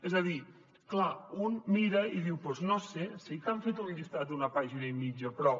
és a dir clar un mira i diu doncs no ho sé sí que han fet un llistat d’una pàgina i mitja però